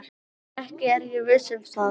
Ekki er ég viss um það.